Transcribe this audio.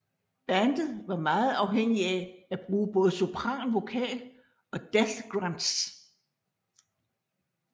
Bandet var meget afhængige af at bruge både sopran vokal og death grunts